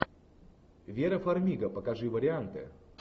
вера фармига покажи варианты